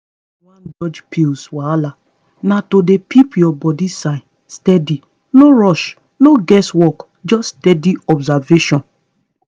if you wan dodge pill wahala na to dey peep your body signs stady no rush no guess work just steady observation